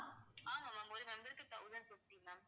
ஆமா ma'am ஒரு member க்கு thousand fifty ma'am